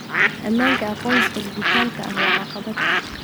Ammaanka aqoonsiga dhijitaalka ah waa caqabad.